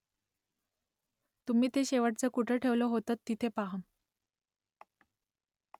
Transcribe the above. तुम्ही ते शेवटचं कुठे ठेवलं होतंत तिथे पहा ?